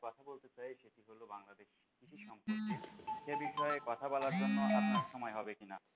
সে বিষয়ে কথা বলার জন্য আপনার সময় কি না?